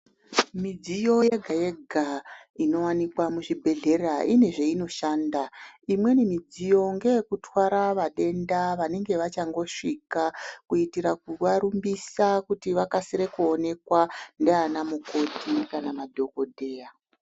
Midziyo yega yega inowanikwa muzvibhedhlera ine zvinoshanda imweni midziyo ngeyekutwara vadenda vanenge vachangosvika kuitira kuvarumbisa kuti vakwanise kuonekwa ndianamukoti kana madhokodheya.